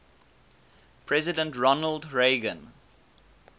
president ronald reagan